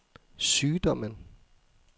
sygdommen